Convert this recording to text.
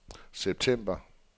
september